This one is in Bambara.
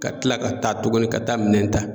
Ka kila ka taa tuguni ka taa minɛn ta